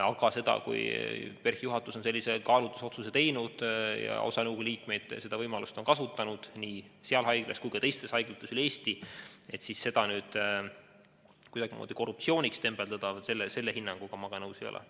Aga seda, kui PERH-i juhatus on sellise kaalutlusotsuse teinud ja osa nõukogu liikmeid on seda võimalust kasutanud, nii seal haiglas kui ka teistes haiglates üle Eesti, siis seda nüüd kuidagimoodi korruptsiooniks tembeldada – selle hinnanguga ma nõus ei ole.